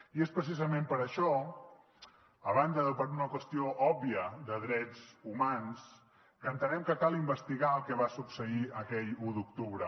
i és precisament per això a banda de per una qüestió òbvia de drets humans que entenem que cal investigar el que va succeir aquell u d’octubre